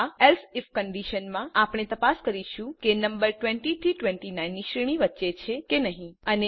આ else IF કન્ડીશનમાં આપણે તપાસ કરીશું કે નમ્બર 20 થી 29 ની શ્રેણી વચ્ચે છે કે નહિ